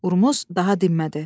Urmuz daha dinmədi.